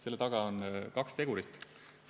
Selle taga on kaks tegurit.